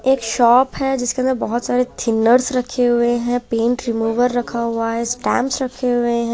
एक शॉप है जिसके अंदर बहुत सारे थिनर्स रखे हुए है पेंट रिमूवर रखा हुआ है स्टांप्स रखे हुए हैं।